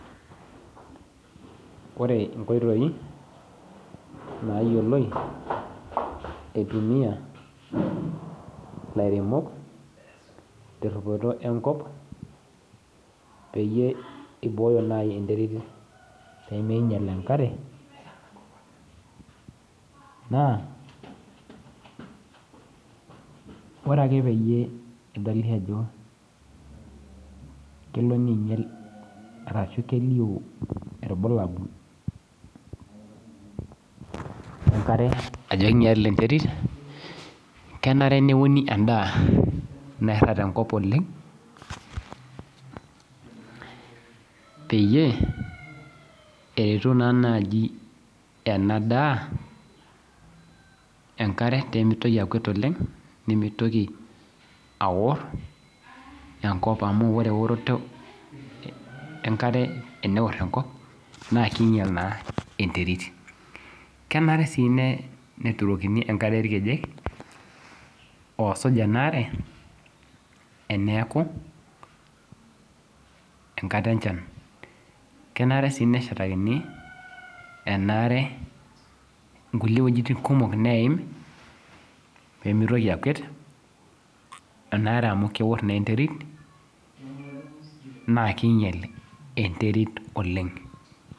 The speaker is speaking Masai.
Ore inkoitoi nayioloi itumia ilairemok, terripoto enkop, peyie ibooyo nai enterit peminyal enkare, naa, ore ake peyie edoli ajo kelo ninyel arashu kelio ilbulabul lenkare ajo kinyalita enterit, kenare neuni endaa nairrag tenkop oleng, peyie, eretu naa naji enadaa enkare pemitoki akuet oleng, nimitoki aor enkop amu ore eoroto enkare eneor enkop, na kiinyal naa enterit. Kenare si netutokini enkare irkejek, oosuj enaare, eneeku enkata enchan. Kenare si neshatakini, enaare nkulie wojiting kumok neim, pemitoki akuet, enaare amu keor naa enterit, naa kinyel enterit oleng.